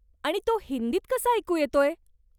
आणि तो हिंदीत कसा ऐकू येतोय?